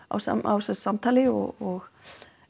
á á samtali og